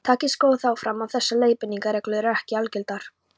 Tekið skal þó fram að þessar leiðbeiningarreglur eru ekki algildar.